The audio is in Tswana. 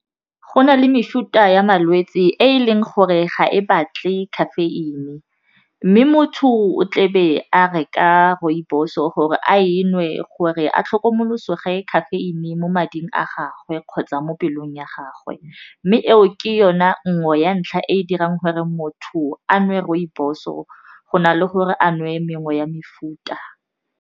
Go na le mefuta ya malwetse e leng gore ga e batle caffeine mme motho o tle be a reka rooibos-o gore a e nngwe gore a tlhokomolosoge caffeine mo mading a gagwe kgotsa mo pelong ya gagwe mme eo ke yona nngwe ya ntlha e dirang gore motho a nwe rooibos-o go na le gore a nwe mengwe ya mefuta.